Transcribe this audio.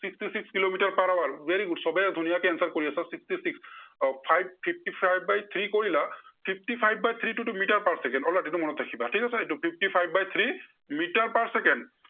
sixty six kilometre per hour, very good সৱেই ধুনীয়াকে answer কৰি আছা, sixty six, five, fifty five by three কৰিলা, fifty fiveby three to metre per second alright আৰু এইটো মনত ৰাখিবা, ঠিক আছে, fifty five by three metre per second.